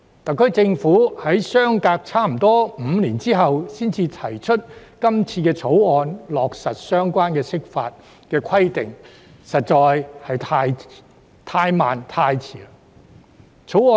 特區政府在相隔近5年後才提出這項《條例草案》，並落實相關的釋法規定，實在是太慢和太遲。